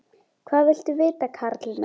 Hvað viltu vita, karl minn?